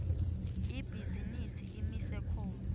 ibhizinisi imise khona